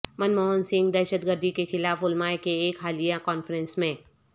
منموہن سنگھ دہشتگردی کے خلاف علماء کے ایک حالیہ کانفرنس میں